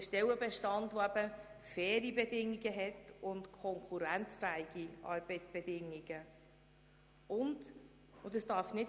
Das muss ein Stellenbestand sein, der faire und konkurrenzfähige Arbeitsbedingungen erfüllt.